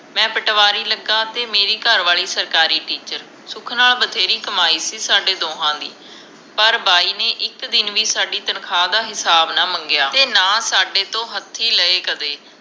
ਮੈਂ ਪਟਵਾਰੀ ਲਗਾ ਤੇ ਮੇਰੀ ਘਰਵਾਲੀ ਸਰਕਾਰੀ ਟਿੱਚਰ ਸੁਖ ਨਾਲ ਬਥੇਰੀ ਕਮਾਈ ਸੀ ਸਾਡੇ ਦੋਹਾਂ ਦੀ ਪਰ ਬਾਈ ਨੇ ਇਕ ਦਿਨ ਵੀ ਸਾਡੀ ਤਨਖਾਂ ਦਾ ਹਿਸਾਬ ਨਾ ਮੰਗਿਆ ਤੇ ਨਾ ਸਾਡੇ ਤੋਂ ਹੱਥੀਂ ਲਏ ਕਦੇ